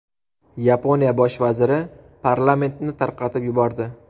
Yaponiya bosh vaziri parlamentni tarqatib yubordi.